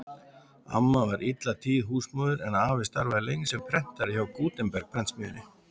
Amma var alla tíð húsmóðir en afi starfaði lengst sem prentari hjá Gutenberg-prentsmiðjunni.